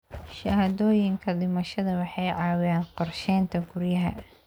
Shahaadooyinka dhimashada waxay caawiyaan qorsheynta guryaha.